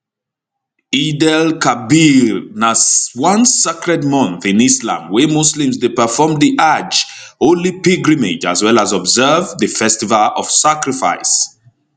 eidelkabir na one sacred month in islam wey muslims dey perform di ajj holy pilgrimage as well as observe di festival of sacrifice